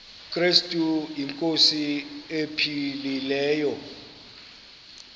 krestu inkosi ephilileyo